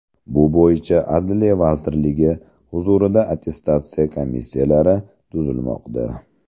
Bu bo‘yicha Adliya vazirligi huzurida attestatsiya komissiyalari tuzilmoqda.